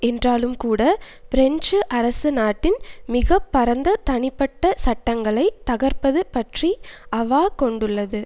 என்றாலும்கூட French அரசு நாட்டின் மிக பரந்த தனிப்பட்ட சட்டங்களை தகர்ப்பது பற்றி அவா கொண்டுள்ளது